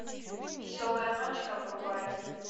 веселая ночка врубай